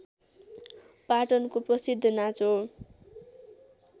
पाटनको प्रसिद्ध नाच हो